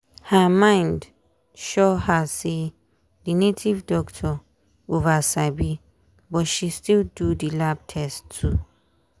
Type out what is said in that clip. her mind sure her say the native doctor over sabi but she still do lab test too